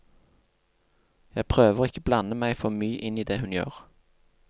Jeg prøver å ikke blande meg for mye inn i det hun gjør.